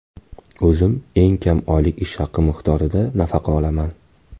O‘zim eng kam oylik ish haqi miqdorida nafaqa olaman.